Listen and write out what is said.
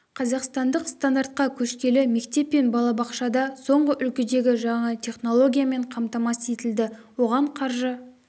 қазақстандық стандартқа көшкелі мектеп пен балабақша да соңғы үлгідегі жаңа теінологиямен қамтамасыз етілді оған қаржы